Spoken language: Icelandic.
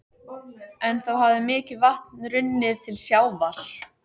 En þá hafði mikið vatn runnið til sjávar.